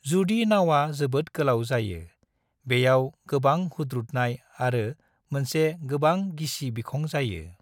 जुदि नावा जोबोद गोलाव जायो, बेयाव गोबां हुथ्रुदनाय आरो मोनसे गोबां गिसि बिखं जायो।